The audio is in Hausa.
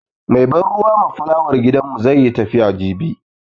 Mai ban ruwa ma fulawar gidanmu zai yi tafiya jibi.